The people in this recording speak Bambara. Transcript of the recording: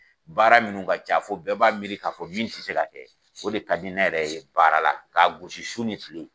Baara minnu ka ca fɔ bɛɛ b'a miiri k'a fɔ min tɛ se ka o de ka di ne yɛrɛ ye baara la k'a gosi su ni tile